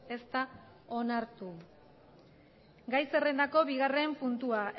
ez da onartu gai zerrendako bigarren puntua